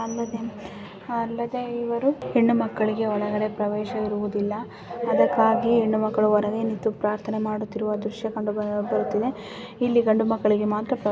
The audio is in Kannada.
ಅಲ್ಲದೆ ಅಲ್ಲದೆ ಇವರು ಹೆಣ್ಣು ಮಕ್ಕಳಿಗೆ ಒಳಗೆ ಪ್ರವೇಶವಿರುವುದಿಲ್ಲ ಅದಕ್ಕಾಗಿ ಹೆಣ್ಣು ಮಕ್ಕಳು ಹೊರಗೆ ನಿಂತು ಪ್ರಾರ್ಥನೆ ಮಾಡುತ್ತಿರುವ ದೃಶ್ಯ ಕಂಡು ಬರುತ್ತಿದೆ ಇಲ್ಲಿ ಗಂಡು ಮಕ್ಕಳಿಗೆ ಮಾತ್ರ ಪ್ರವೇಶ.